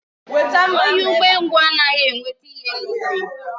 Onye umengwu anaghị enweta ihe n'ubi.